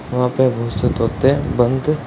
वहां पे बहुत से तोते बंद --